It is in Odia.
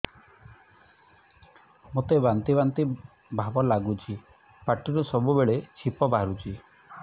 ମୋତେ ବାନ୍ତି ବାନ୍ତି ଭାବ ଲାଗୁଚି ପାଟିରୁ ସବୁ ବେଳେ ଛିପ ବାହାରୁଛି